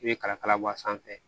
I bɛ kala kala bɔ a sanfɛ